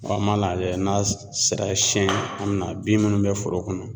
an m'a lajɛ n'a sera siyɛn an mi na bin minnu bɛ foro kɔnɔ